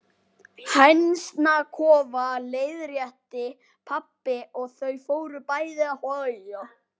Hænsnakofa, leiðrétti pabbi og þau fóru bæði að hlæja.